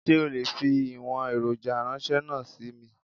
Sé o lè fi ìwòn èròjà ránsé náà sí mi?